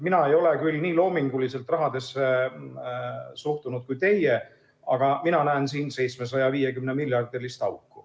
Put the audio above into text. Mina ei ole küll nii loominguliselt rahasse suhtunud kui teie, aga mina näen siin 750‑miljardilist auku.